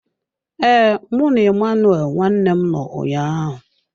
Ee, mụ na Emmanuel nwanne m nọ ụnyaahụ.